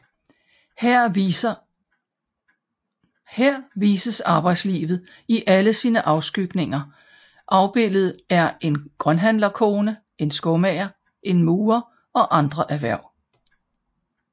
Her vises arbejdslivet i alle sine afskygninger afbildet er en grønthandlerkone en skomager en murer og andre erhverv